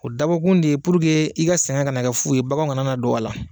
O dabɔkun de ye puruke i ka sɛgɛn kana na kɛ fu ye baganw kana na don a la